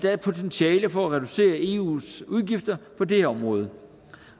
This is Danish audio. er et potentiale for at reducere eus udgifter på det område